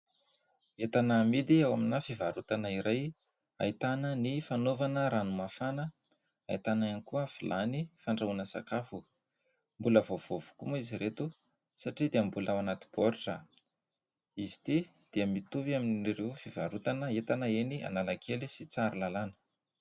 Entana amidy ao amina fivarotana iray ahitana ny fanaovana ranomafana, ahitana ihany koa vilany fandrahoana sakafo mbola vaovao avokoa moa izy ireto satria dia mbola ao anaty boritra. Izy ity dia mitovy amin''ireo fivarotana entana eny Analakely sy Tsarilalana.